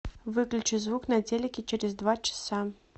выключи звук на телике через два часа